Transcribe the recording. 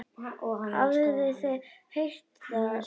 Hafið þið heyrt það betra.